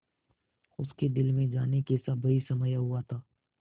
उसके दिल में जाने कैसा भय समाया हुआ था